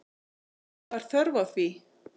Var þörf á því?